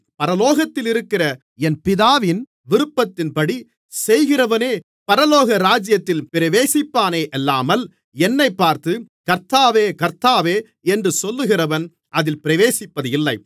பரலோகத்திலிருக்கிற என் பிதாவின் விருப்பத்தின்படி செய்கிறவனே பரலோகராஜ்யத்தில் பிரவேசிப்பானேயல்லாமல் என்னைப் பார்த்து கர்த்தாவே கர்த்தாவே என்று சொல்லுகிறவன் அதில் பிரவேசிப்பதில்லை